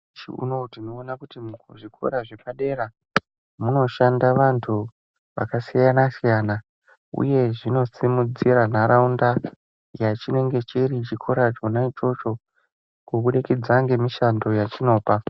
Nyamushi unowo tinoona kuti zvikora zvepadera munoshanda vantu vakasiyana siyana uye zvinosimudzire ntaraunda yachinenge chiri chikora chona ichocho kubudikidza ngemishando yechinopa